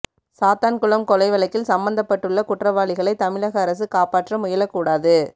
சாத்தான்குளம் கொலை வழக்கில் சம்பந்தப்பட்டுள்ள குற்றவாளிகளைத் தமிழக அரசு காப்பாற்ற முயலக் கூடாது